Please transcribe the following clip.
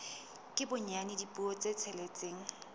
ka bonyane dipuo tse tsheletseng